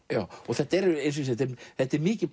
þetta þetta er mikið